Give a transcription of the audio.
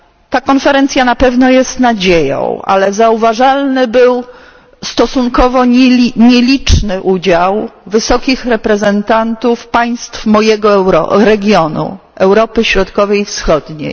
Ta konferencja na pewno jest nadzieją, ale zauważalny był stosunkowo nieliczny udział wysokich reprezentantów państw mojego regionu, Europy Środkowej i Wschodniej.